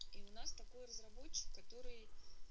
и у нас такое разработчик который